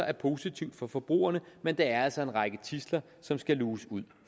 er positivt for forbrugerne men der er altså en række tidsler som skal luges ud